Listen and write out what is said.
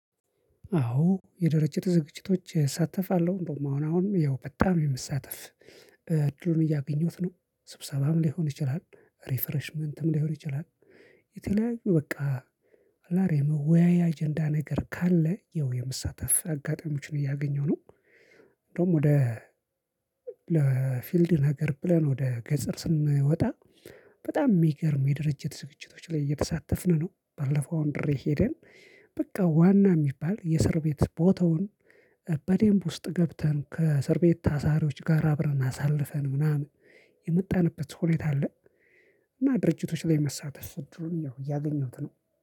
አዎ የድርጅት ዝግጅቶች እሳተፋለሁ እንደውም አሁን አሁን ያው በጣም የመሳተፍ እድሉን እያገኘሁት ነው ስብሰባም ሊሆን ይችላል ሪፍሬሽመንትም ሊሆን ይችላል። የተለያዩ በቃ የመወያያ አጀንዳ ነገር ካለ ይኸው የመሳተፍ አጋጣሚዎችን እያገኘሁ ነው። እንደውም ወደ ፊልድ ነገር ብለን ወደ ገጠር ስንወጣ በጣም የሚገርም የድርጅት ዝግጅቶች ላይ እየተሳተፍን ነው። ባለፈው አንድሬ ሄደን በቃ ዋና የሚባል የእስር ቤት ቦታውን በደንብ ውስጥ ገብተን ከእስር ቤት ታሳሪዎች ጋር አብረን አሳልፈን ምናምን የመጣንበት ሁኔታ አለ። እና ድርጅቶች ላይ መሳተፍ እድሉን ያገኘሁት ነው